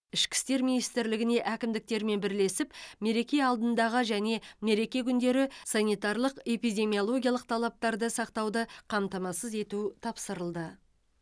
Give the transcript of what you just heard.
ішкі істер министрлігіне әкімдіктермен бірлесіп мереке алдындағы және мереке күндері санитарлық эпидемиологиялық талаптарды сақтауды қамтамасыз ету тапсырылды